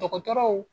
Dɔgɔtɔrɔw